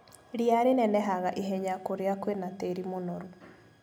Ria rinenehaga ihenya kũria kwĩna tĩri mũnoru.